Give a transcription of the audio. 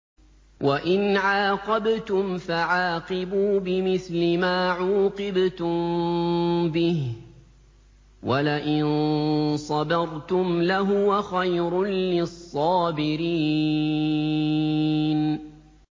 وَإِنْ عَاقَبْتُمْ فَعَاقِبُوا بِمِثْلِ مَا عُوقِبْتُم بِهِ ۖ وَلَئِن صَبَرْتُمْ لَهُوَ خَيْرٌ لِّلصَّابِرِينَ